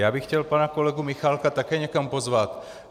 Já bych chtěl pana kolegu Michálka také někam pozvat.